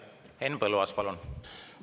Henn Põlluaas, palun!